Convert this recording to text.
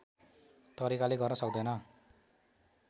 तरिकाले गर्न सक्दैन